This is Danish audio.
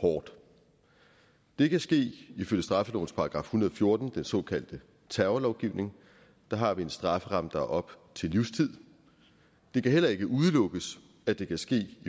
hårdt det kan ske ifølge straffelovens § en hundrede og fjorten den såkaldte terrorlovgivning der har vi en strafferamme der er op til livstid det kan heller ikke udelukkes at det kan ske i